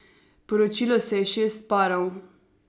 Poročilo se je šest parov.